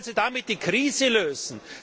Wie wollen Sie damit die Krise lösen?